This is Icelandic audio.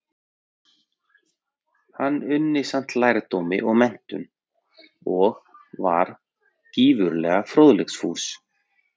Hann unni samt lærdómi og menntun, og var gífurlega fróðleiksfús.